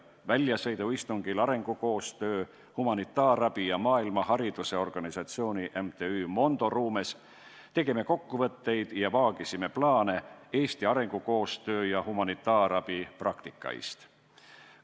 Väljasõiduistungil arengukoostöö, humanitaarabi ja maailmahariduse organisatsiooni MTÜ Mondo ruumes tegime kokkuvõtteid Eesti arengukoostöö ja humanitaarabi praktikaist ja vaagisime edasisi plaane.